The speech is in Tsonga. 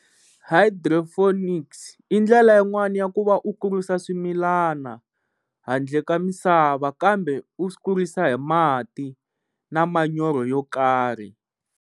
Hydroponics i ndlela yin'wani ya ku va u kurisa swimilana handle ka misava kambe u swi kurisa hi mati na manyoro yo karhi.